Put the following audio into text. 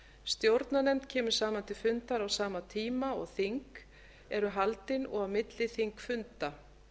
stjórnarnefnd kemur saman til fundar á sama tíma og þing eru haldin og á milli þingfunda